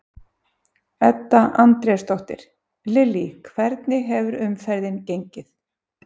Edda Andrésdóttir: Lillý hvernig hefur umferðin gengið?